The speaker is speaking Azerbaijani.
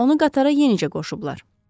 Onu qatara yenicə qoşublar.